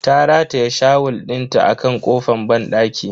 Ta rataye shawul dinta a kan kofan banɗakin.